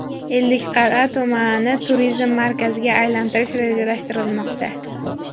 Ellikqal’a tumanini turizm markaziga aylantirish rejalashtirilmoqda.